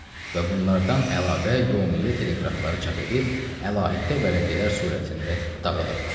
Və bunlardan əlavə, yomiyyə teleqrafları çap edib, əlahiddə vərəqələr surətində dağıdırdıq.